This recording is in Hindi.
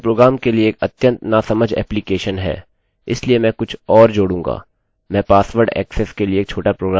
इसलिए मैं कुछ और अधिक जोड़ूँगा मैं पासवर्ड ऐक्सेस के लिए एक छोटा प्रोग्राम बनाऊँगा